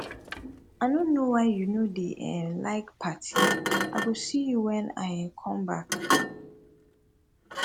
i no know why you no dey um like party i go see you when i um come back